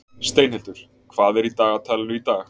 Steinhildur, hvað er í dagatalinu í dag?